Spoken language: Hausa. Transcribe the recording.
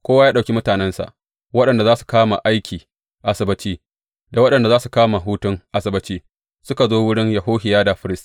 Kowa ya ɗauki mutanensa, waɗanda za su kama aiki Asabbaci da waɗanda za su kama hutun Asabbaci, suka zo wurin Yehohiyada firist.